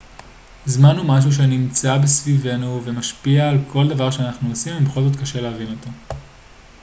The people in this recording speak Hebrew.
זמן הוא משהו שנמצא סביבנו ומשפיע על כל דבר שאנחנו עושים ובכל זאת קשה להבין אותו